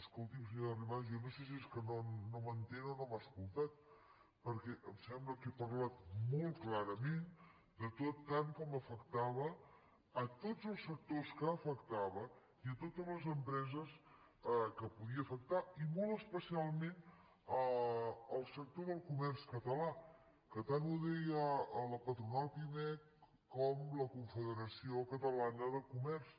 escolti’m senyora arrimadas jo no sé si és que no m’entén o no m’ha escoltat perquè em sembla que he parlat molt clarament de tant com afectava tots els sectors que afectava i totes les empreses que podia afectar i molt especialment el sector del comerç català que tant ho deia la patronal pimec com la confederació catalana de comerç